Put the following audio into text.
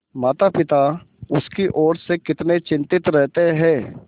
मातापिता उसकी ओर से कितने चिंतित रहते हैं